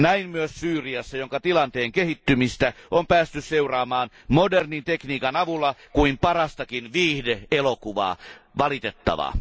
Näin myös Syyriassa, jonka tilanteen kehittymistä on päästy seuraamaan modernin tekniikan avulla kuin parastakin viihde elokuvaa valitettavaa.